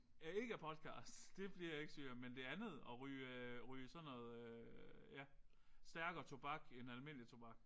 Ja ikke af podcast det bliver jeg ikke syg af men det andet at ryge ryge sådan noget ja stærkere tobak end almindelig tobak